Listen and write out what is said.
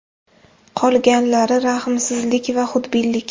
Qolganlari – rahmsizlik va xudbinlik.